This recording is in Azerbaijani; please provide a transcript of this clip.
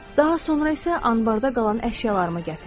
Daha sonra isə anbarda qalan əşyalarımı gətirdim.